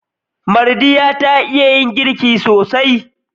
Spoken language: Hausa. Mardiya ta iya yin girki sosai.